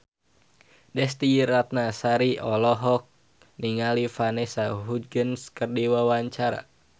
Desy Ratnasari olohok ningali Vanessa Hudgens keur diwawancara